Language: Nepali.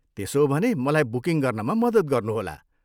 त्यसो हो भने मलाई बुकिङ गर्नमा मद्दत गर्नुहोला।